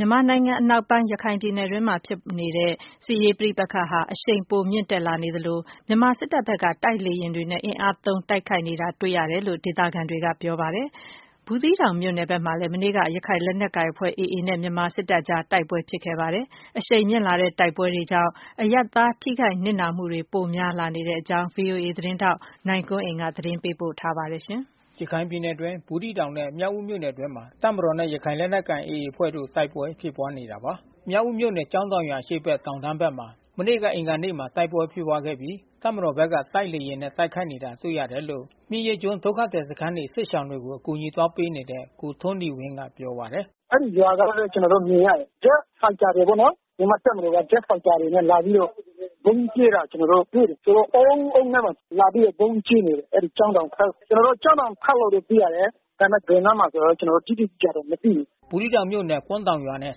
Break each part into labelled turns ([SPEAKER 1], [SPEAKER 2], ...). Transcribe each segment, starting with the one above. [SPEAKER 1] မြန်မာနိုင်ငံအနောက်ပိုင်း ရခိုင်ပြည်နယ်အတွင်း ဖြစ်ပွားနေတဲ့ စစ်ရေးပဋိပက္ခဟာ အရှိန် ပိုမြင့်တက်လာနေသလို မြန်မာစစ်တပ်ဘက်က တိုက်လေယာဉ်တွေနဲ့ အင်အားသုံး တိုက်ခိုက်နေတာ တွေ့ရတယ်လို့ ဒေသခံတွေက ပြောပါတယ်။ ဘူးသီးတောင်မြို့နယ် ဘက်မှာလည်း မနေ့က ရခိုင်လက်နက်ကိုင်အဖွဲ့ AA နဲ့ မြန်မာစစ်တပ်ကြား တိုက်ပွဲ ဖြစ်ပွားခဲ့ပါတယ်။ အရှိန်မြင့်လာတဲ့တိုက်ပွဲတွေကြောင့် အရပ်သား ထိခိုက်နစ်နာမှုတွေ ပိုများလာနေတဲ့အကြောင်း ဗွီအိုအေ သတင်းထောက် နိုင်ကွန်းအိန်ကနေ သတင်းပေးပို့ထားပါတယ်။ ရခိုင်ပြည်နယ်အတွင်း ဘူးသီးတောင်နဲ့မြောက်ဦးမြို့နယ်အတွင်းမှာ တပ်မတော်နဲ့ရခိုင်လက်နက်ကိုင် AA အဖွဲ့ တို့တိုက်ပွဲဖြစ်ပွားနေတာပါ။ မြောက်ဦးမြို့နယ်၊ ကျောင်းတောင်ရွာ အရှေ့ဘက် တောင်တန်းဘက်မှာ မနေ့ အင်္ဂါနေ့မှာ တိုက်ပွဲဖြစ်ပွားခဲ့ပြီး တပ်မတော်ဘက်က တိုက်လေယာဉ် နဲ့တိုက်ခိုက်နေတာ တွေ့ရတယ်လို့ မြက်ရိတ်ကျွန်းဒုက္ခသည်စခန်းနေ စစ်ရှောင်တွေကို အကူညီပေးနေတဲ့ ကိုထွန်းနီဝင်းက ပြောပါတယ်
[SPEAKER 2] ။ “အဲဒီ ရွာစောင်းလဲ ကျွန်တော်တို့မြင်ရတယ်။ Jet Fighter တွေ ပေါ့နော်။ မြန်မာ့တပ်မတော်က Jet Fighter တွေနဲ့လာပြီးတော့ ဗုံးကြဲတာ ကျွန်တော်တို့တွေ့တယ်။ ဆိုတော့ တအုံးအုံးနဲ့ဘဲ။ လာပြီးတော့ဗုံးကြဲတယ်။ အဲဒီ ကျောင်းတောင်ဖက်။ ကျွန်တော်တို့ ကျောင်းတောင်ဘက်လို့ဘဲ သိရတယ်။ ဒါပေမယ့် ဘယ် အနားမှာဆိုတာ ကျွန်တော် တို့ တိတိကျကျမသိရဘူး။
[SPEAKER 1] ” ဘူးသီးတောင်မြို့နယ်၊ ကွမ်းတောင်ရွာနှင့်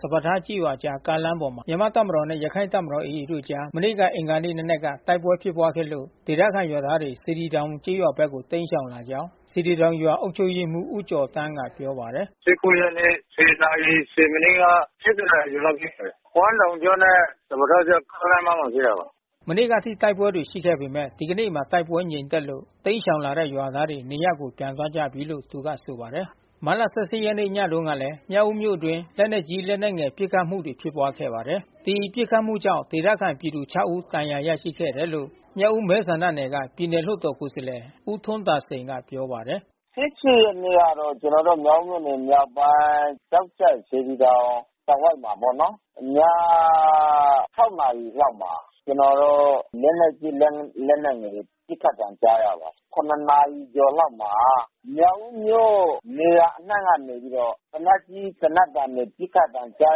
[SPEAKER 1] စပါးထားကျေးရွာအကြား ကားလမ်းပေါ်မှာ မြန်မာတပ်မတော်နှင့် ရခိုင့် တပ်မတော် တို့အကြား မနေ့က အင်္ဂါနေ့နံနက်က တိုက်ပွဲ ဖြစ်ပွားခဲ့လို့ ဒေသခံရွာသားတွေ စေတီတောင် ရွာဘက်ကို တိမ်းရှောင် လာကြောင်း စေတီတောင်ရွာ အုပ်ချုပ်ရေးမှူး ဦးကျော်သန်းကပြောပါတယ်။ ရက်
[SPEAKER 2] နေ့ နာရီ မိနစ်က နာရီကျော်ကျော်လောက် ရှိမယ်။ ကွမ်းတောင်ကျွန်း နဲ့ စပါးထားအကြား ကားလမ်းမမှာ ဖြစ်တာပါ။
[SPEAKER 1] ” မနေ့ကအထိ တိုက်ပွဲတွေ ရှိခဲ့ပေမယ့် ဒီနေ့မှာ တိုက်ပွဲြငိမ်သက်လို့ တိမ်းရှောင်လာတဲ့ ရွာသားတွေ နေရပ်ကိုပြန်ကြ ပြီလို့ သူကဆိုပါတယ်။ မတ်လ ရက်နေ့ ညတုန်းကလည်း မြောက်ဦးမြို့အတွင်း လက်နက်ကြီး လက်နက်ငယ် ပစ်ခတ်မှုတွေ ဖြစ်ပွားခဲ့ပါ တယ်။ ဒီပစ်ခတ်မှုကြောင့် ဒေသခံပြည်သူ ဦး ဒဏ်ရာရခဲ့တယ်လို့ မြောက်ဦးမဲဆန္ဒနယ်က ပြည်နယ်လွှတ်တော် ကိုယ်စားလှယ် ဦးထွန်းသာစိန် က ပြောပါတယ်
[SPEAKER 2] ။ ရက်နေ့ကတော့ ကျွန်တော်တို့မြောက်ဦးမြို့မြောက်ပိုင်း ကျောက်ကြပ်စေတီ တောင်တဝိုက် မှာပေါ့နော်။ ည နာရီလောက်မှာ ကျွန်တော်တို့လက်နက်ကြီး လက်နက်ငယ်တွေ ပစ်ခတ်သံကြားရပါတယ်။ နာရီကျော် လောက်မှာ မြောက်ဦးမြို့ နေရာ အနှံ့ကနေပြီးတော့ သေနတ်ကြီးသေနတ်သံ ပစ်ခတ်သံတွေ ကြား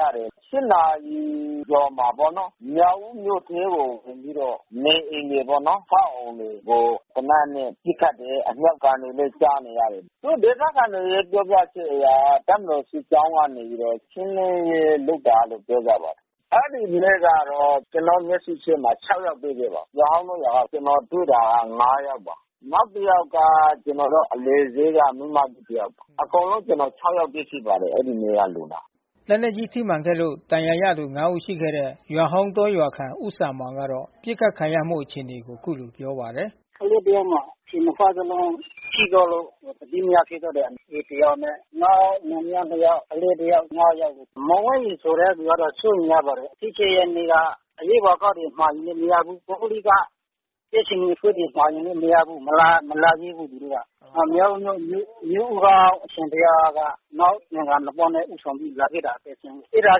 [SPEAKER 2] ရတယ်။ နာရီကျော်မှာပေါ့နော် မြောက်ဦးမြို့ထဲကို ဝင်ပြီးတော့ နေအိမ်တွေပေါ့နော် သေနတ်နဲ့ ပစ်ခတ် တယ်။ အမြှောက်သံတွေ ကြားနေရတယ်။ ဒေသခံတွေရဲ့ ပြောပြချက်အရ တပ်မတော်စစ်ကြောင်းကနေ ရှင်းလင်းရေး လုပ်တယ် လို့ ပြောကြပါတယ်။ အဲဒီနေ့က ကျွန်တော် မျက်စိရှေ့မှာ ယောက်တွေ့ ရှိ ခဲ့ပါတယ်။ ရွာဟောင်းတောရွာ က ကျွန်တော်တွေ့တာ ယောက်ပါ။ နောက်တယောက်က ကျွန်တော်တို့အလယ်ဈေးက မိန်းမကြီးတယောက်ပါ။ အကုန်လုံး ကျွန်တော် ယောက် တွေ့ရှိပါတယ် အဲဒီနေ့က လူနာ။
[SPEAKER 1] ” လက်နက်ကြီးထိမှန်ခဲ့လို့ ဒဏ်ရာရသူ ဦး ရှိခဲ့တဲ့ ရွာဟောင်းတော ရွာခံ ဦးစံမောင် ကတော့ ပစ်ခတ်ခံရမှုအခြေအနေ ကို အခုလို ပြောပါတယ်။
[SPEAKER 2] “ကလေးတယောက်မှာ ခြေနှစ်ဖက်လုံးထိသွားလို့ သတိမရဖြစ် သွားတယ်။ ကလေးနှစ်ယောက်နဲ့ နောက်လင်မယား နှစ်ယောက်။ ကလေးတယောက် ယောက်ပေါ့။ မောင်ဝင်းရီ ဆိုတဲ့သူကတော့ စိုးရိမ်ရပါတယ်။ ရက်နေ့က အရေးပေါ်ကားတွေ မှာယူလို့မရဘူး။ ပုဂ္ဂလိက ကြက်ခြေနီ မှာလို့မရဘူး။ မလာရဲဘူး သူတို့က။ မြောက်ဦးမြို့မြို့ကအရှင်ဘုရားက သံဃာနှစ်ပါး နဲ့ ဦးဆောင်ပြီး လာခဲ့ တာဖြစ်တယ်။ အဲတာ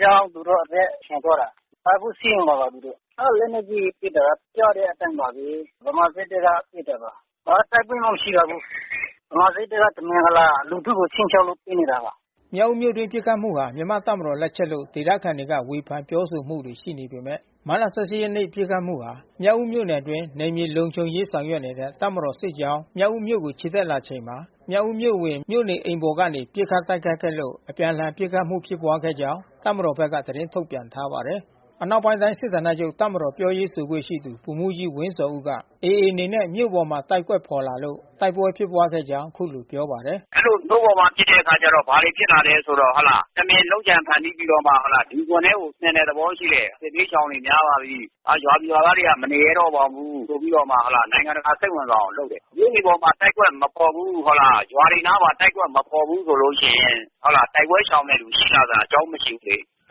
[SPEAKER 2] ကြောင့်သူတို့ အသက်ရှင်သွားတာ။ အခုဆေးရုံမှာပါသူတို့။ အဲဒီ လက်နက်ကြီး ပစ်တာကကြားတဲ့အတိုင်းပါဘဲ။ ဗမာစစ်တပ်ဖက်ကပစ်တာပါ။ ဘာတိုက်ပွဲမှ မရှိပါဘူး။ ဗမာစစ်တပ်က တမင်တကာ လူထုကိုခြိမ်းခြောက်လို့ ပစ်နေ တာပါ။
[SPEAKER 1] ” မြောက်ဦးမြို့အတွင်း ပစ်ခတ်မှုဟာ မြန်မာ့တပ်မတော်လက်ချက်လို့ ဒေသခံတွေက ဝေဖန်ပြောဆိုမှုတွေရှိနေပေမယ့် မတ်လ ရက်နေ့ ပစ်ခတ်မှုမှာ မြောက်ဦးမြို့နယ် အတွင်း နယ်မြေလုံခြုံရေးဆောင်ရွက်နေတဲ့ တပ်မတော် စစ် ကြောင်း မြောက်ဦးမြို့ကို ချီတက်လာချိန်မှာ မြောက်ဦးမြို့အဝင် မြို့နေအိမ်ပေါ် ကနေ ပစ်ခတ် တိုက်ခိုက်ခဲ့လို့ အပြန်အလှန် ပစ်ခတ်မှုဖြစ်ပွားခဲ့ကြောင်း တပ်မတော်ဘက်က သတင်းထုတ်ပြန်ထား ပါတယ်။ အနောက်ပိုင်းတိုင်း စစ်ဌာနချုပ် တပ်မတော်ပြောရေးဆိုခွင့်ရှိသူ ဗိုလ်မှူးကြီးဝင်းဇော်ဦးက AAအနေနဲ့ မြို့ပေါ်မှာ တိုက်ကွက်ဖေါ်လာလို့ တိုက်ပွဲဖြစ်ခဲ့ကြောင်း အခုလိုပြောပါတယ်။ “
[SPEAKER 2] အဲဒီလိုမြို့ပေါ်မှာပစ်တဲ့အခါကျတော့ ဘာတွေဖြစ်လာလဲဆိုတော့ တမင်လုပ်ကြံ ဖန်တီးပြီးတော့မှဟုတ်လား လူဂွင် ထဲကိုဆင်တဲ့သဘောရှိတယ်။ စစ်ဘေးရှောင်တွေများလာပြီး ၊ရွာသူရွာသားတွေမနေရဲတော့ပါဘူး။ ဆိုပြီးတော့မှ နိုင်ငံတကာစိတ်ဝင်စားအောင် လုပ်တယ်။မြို့တွေပေါ်မှာတိုက်ကွက်မဖေါ်ဘူး။ ရွာတွေအပေါ်မှာ တိုက်ကွက်မဖေါ် ဘူးဆိုရင် တိုက်ပွဲရှောင်တဲ့ လူရှိလာစရာအကြောင်းမရှိဘူးလေ။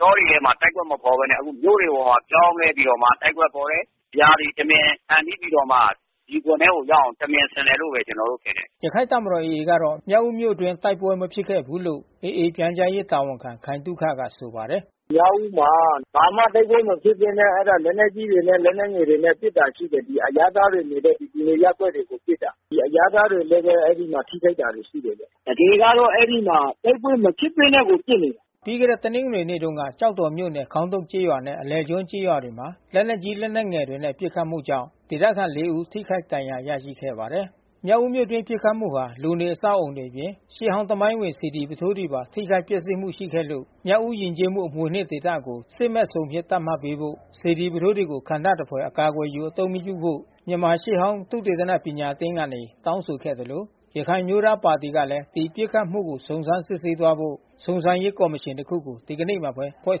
[SPEAKER 2] တောတွေထဲမှာတိုက်ကွက်မဖေါ်ဘဲ မြို့တွေအပေါ် မှာပြောင်းလဲပြီးတော့တိုက်ကွက်ဖေါ်တယ်။ ဒီဟာတွေတမင်ဖန်တီးပြီးတော့မှ ဒီဂွင်ထဲကိုရောက်အောင် တမင်ဆင် တယ် လို့ဘဲကျွန်တော်တို့မြင်တယ်
[SPEAKER 1] ။” ရခိုင့်တပ်မတော် AA ကတော့ မြောက်ဦးမြို့အတွင်းတိုက်ပွဲမဖြစ်ခဲ့ဘူးလို့ AA ပြန်ကြားရေး တာဝန်ခံ ခိုင်သုခက ဆိုပါတယ်။
[SPEAKER 2] “မြောက်ဦးမှာ ဘာမှတိုက်ပွဲမဖြစ်ဘဲနဲ့ လက်နက်ကြီးတွေနဲ့ လက် နက်ငယ်တွေနဲ့ ပစ်တာရှိတယ်။ အရပ်သားတွေ နေတဲ့လူနေရပ်ကွက်တွေကိုပစ်တာ။ အရပ်သားတွေဘဲ အဲဒီမှာထိခိုက် တာတွေရှိတယ်။ တကယ်ကတော့အဲဒီမှာ တိုက်ပွဲမဖြစ်ပဲနဲ့ကို
[SPEAKER 1] ပစ်နေတာ။ ” ပြီးခဲ့တဲ့ တနင်္ဂနွေနေ့တုန်းကလည်း ကျောက်တော်မြို့နယ် ခေါင်းတုတ်ကျေးရွာ နဲ့ အလယ်ကျွန်းကျေးရွာ တွေမှာ လက်နက်ကြီးငယ်တွေနဲ့ ပစ်ခတ်မှုကြောင့် ဒေသခံ ဦး ထိခိုက်ဒဏ်ရာရရှိခဲ့ပါတယ်။ မြောက်ဦးမြို့အတွင်း ပစ်ခတ်မှုမှာ လူနေအဆောက်အဦးတွေအပြင် ရှေးဟောင်း သမိုင်းဝင် စေတီပုထိုးတွေပါ ထိခိုက်ပျက်စီးမှုရှိခဲ့တယ်လို့ မြောက်ဦးယဉ်ကျေးမှု အမွေအနှစ် ဒေသကို စစ်မဲ့ဇုံ အဖြစ်သတ်မှတ်ပေးဖို့၊ စေတီပုထိုး တွေကို ခံတပ်သဖွယ် အကာအကွယ်ယူ အသုံးမပြုဖို့မြန်မာရှေးဟောင်း သုတေသနပညာအသင်းကနေ တောင်း ဆိုခဲ့သလို ရခိုင်အမျိုးသားပါတီကလဲ ဒီပစ်ခတ်မှုကို စုံစမ်းစစ်ဆေးသွားဖို့ စုံစမ်းရေးကော်မရှင် တခုကို ဒီနေ့မှာပဲ ဖွဲ့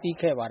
[SPEAKER 1] စည်းခဲ့ပါတယ်